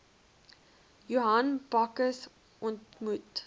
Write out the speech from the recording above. johan bakkes ontmoet